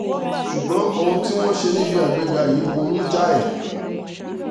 ṣùgbọ́n ohun tí wọ́n ṣe níbi àgbéga yìí burú jáì